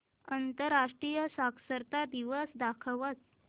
आंतरराष्ट्रीय साक्षरता दिवस दाखवच